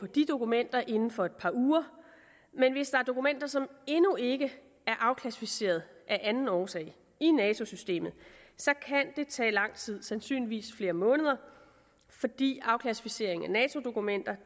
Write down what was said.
de dokumenter inden for et par uger men hvis der er dokumenter som endnu ikke er afklassificerede af anden årsag i nato systemet kan det tage lang tid sandsynligvis flere måneder fordi afklassificering af nato dokumenter